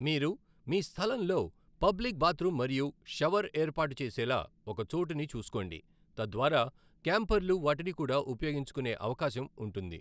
మీరు మీ స్థలంలో పబ్లిక్ బాత్రూమ్ మరియు షవర్ ఏర్పాటు చేసేలా ఒక చోటుని చూసుకోండి, తద్వారా క్యాంపర్లు వాటిని కూడా ఉపయోగించుకునే అవకాశం ఉంటుంది.